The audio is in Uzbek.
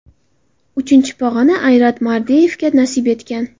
Uchinchi pog‘ona Ayrat Mardeyevga nasib etgan.